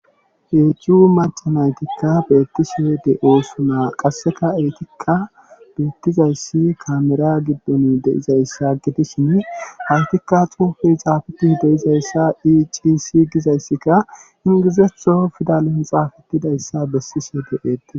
eechuu machanaytikka beettise de oosuna qasseka eetikka beettizayssi kamera giddon deizayssa gidishin haytikka xuufey xaafeti deizayssa icisi gizayssikka ingizetho fidalon xaafetidayssa bessise deeete